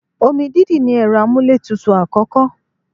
Omi dídì ní ẹ̀rọ amúlétutù àkọ́kọ́.